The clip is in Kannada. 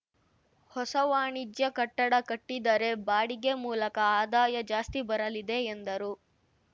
ಹೊಸ ವಾಣಿಜ್ಯ ಕಟ್ಟಡ ಕಟ್ಟಿದರೆ ಬಾಡಿಗೆ ಮೂಲಕ ಆದಾಯ ಜಾಸ್ತಿ ಬರಲಿದೆ ಎಂದರು